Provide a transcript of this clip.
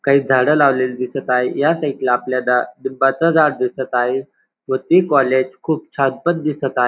काही झाड लावलेली दिसत आहेत ह्या साइडला आपल्याला लिंबाचं झाड दिसत आहे व ते कॉलेज खूप छान पण दिसत आ--